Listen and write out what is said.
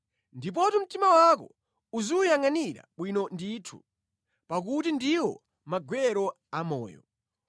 Ndipotu mtima wako uziwuyangʼanira bwino ndithu pakuti ndiwo magwero a moyo.